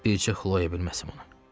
Bir cıxloya bilməsin onu.